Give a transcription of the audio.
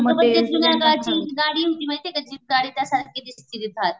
आग पण ते जुन्याकाळची गाडी होती माहितीये का जीप गाडी त्या सारखी दिसती ती थार.